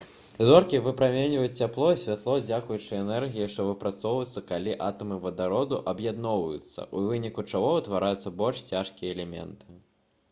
зоркі выпраменьваюць цяпло і святло дзякуючы энергіі што выпрацоўваецца калі атамы вадароду аб'ядноўваюцца або зліваюцца у выніку чаго ўтвараюцца больш цяжкія элементы